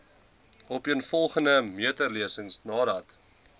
opeenvolgende meterlesings nadat